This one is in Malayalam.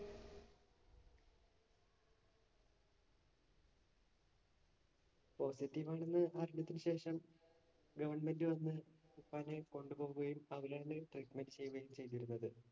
Positive ആണെന്ന് അറിഞ്ഞതിനു ശേഷം government വന്ന് ഉപ്പാനെ കൊണ്ട് പോകുകയും, അവരാണ് treatment ചെയ്യുകയും ചെയ്തിരുന്നത്.